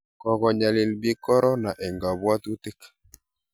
kokonyalil piik korona eng' kabwatutiik